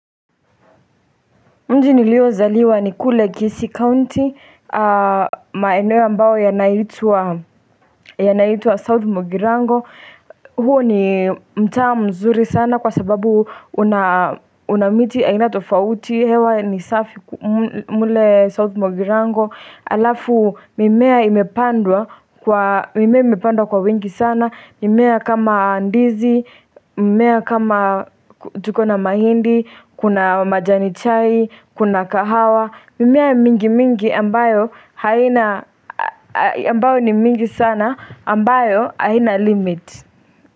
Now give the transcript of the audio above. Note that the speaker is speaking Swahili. Mji niliozaliwa ni kule Kisii County, maeneo ambayo yanaitwa South Mugirango, huo ni mtaa mzuri sana kwa sababu una miti aina tofauti, hewa ni safi mule South Mogirango. Halafu mimea imepandwa kwa mimea imepandwa kwa wengi sana mimea kama ndizi, mimea kama tukona mahindi, kuna majani chai, kuna kahawa mimea mingi mingi ambayo haina, ambayo ni mingi sana ambayo haina limit.